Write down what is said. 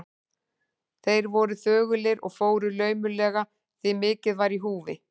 Þeir voru þögulir og fóru laumulega, því mikið var í húfi.